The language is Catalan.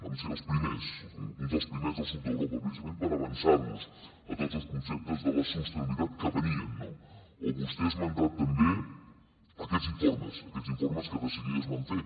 vam ser els primers uns dels primers del sud d’europa precisament per avançar nos a tots els conceptes de la sostenibilitat que venien no o vostè ha esmentat també aquests informes aquests informes que de seguida es van fer